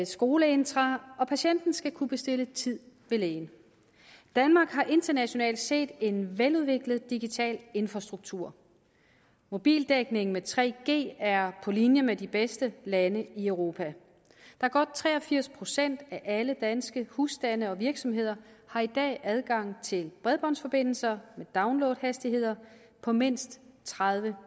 skoleintra og patienten skal kunne bestille tid ved lægen danmark har internationalt set en veludviklet digital infrastruktur mobildækningen med 3g er på linje med de bedste lande i europa godt tre og firs procent af alle danske husstande og virksomheder har i dag adgang til bredbåndsforbindelser med downloadhastigheder på mindst tredive